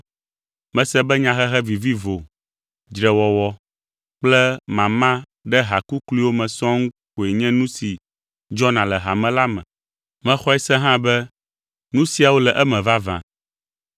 Mese be nyahehe vivivo, dzrewɔwɔ kple mama ɖe ha kukluiwo me sɔŋ koe nye nu si dzɔna le hame la me. Mexɔe se hã be nu siawo le eme vavã.